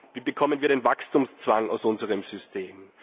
Wie bekommen wir den Wachstumszwang aus unserem System?